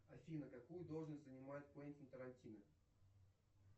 афина какую должность занимает квентин тарантино